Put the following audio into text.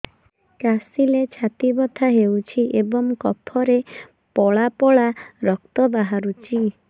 କାଶିଲେ ଛାତି ବଥା ହେଉଛି ଏବଂ କଫରେ ପଳା ପଳା ରକ୍ତ ବାହାରୁଚି